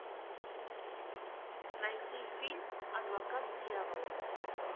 найти фильм адвокат дьявола